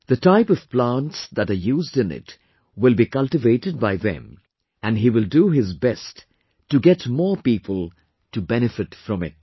The type of plants that are used in it will be cultivated by them and he will do his best to get more people to benefit from it